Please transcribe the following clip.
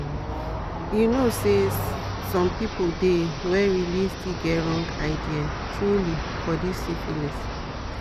you know say some people dey where realy still get wrong ideas truely for this syphilis